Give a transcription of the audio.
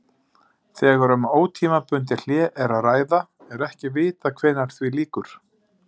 Þegar um ótímabundið hlé er að ræða er ekki vitað hvenær því lýkur.